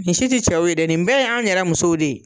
Nin si ti cɛw ye dɛ nin bɛɛ y'an yɛrɛ musow de ye